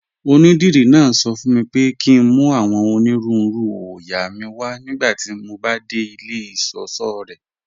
Ọnídírí náà sọ fún mí pé kí n mú awọn onírùúrù oóyà mí wà nigbàtí mó bá de ilẹ̀ ìṣọṣọ̀ rẹ́.